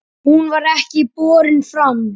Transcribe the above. Hún var ekki borin fram.